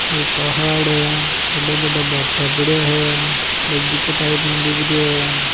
एक पहाड़ है बड़ा बड़ा भाटा पड़ा हैं बगीचा टाइप में दिख रो है।